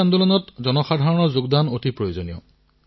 পুষ্টিৰ এই আন্দোলনত জনসাধাৰণৰ অংশগ্ৰহণো অতিশয় আৱশ্যক